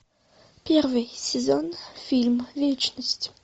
первый сезон фильм вечность